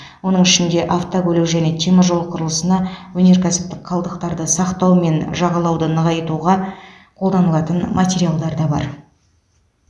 оның ішінде автокөлік және теміржол құрылысына өнеркәсіптік қалдықтарды сақтау мен жағалауды нығайтуға қолданылатын материалдар да бар